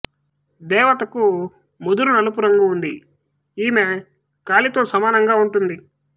దేవతకు ముదురు నలుపు రంగు ఉంది ఈమె కలితో సమానంగా ఉంటుంది